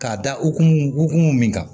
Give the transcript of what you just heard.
K'a da o hukumu hukumu min kan